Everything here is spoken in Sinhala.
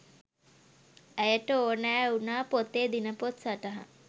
ඇයට ඕනෑ වුනා පොතේ දිනපොත් සටහන්